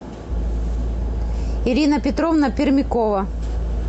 ирина петровна пермякова